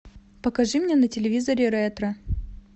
покажи мне на телевизоре ретро